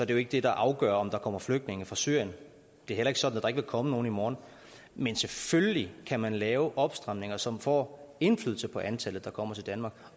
det jo ikke det der afgør om der kommer flygtninge fra syrien det er heller ikke sådan at der ikke vil komme nogen i morgen men selvfølgelig kan man lave opstramninger som får indflydelse på antallet der kommer til danmark